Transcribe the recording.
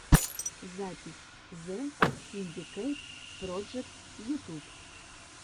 запись зе синдикэйт проджект ютуб